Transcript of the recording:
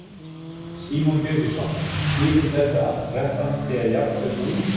Símon Birgisson: Þýðir þetta að kreppan sé jafnvel búin?